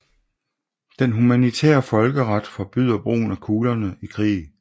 Den humanitære folkeret forbyder brugen af kuglerne i krig